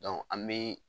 an bɛ